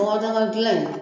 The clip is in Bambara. Bɔgɔdaga dilan in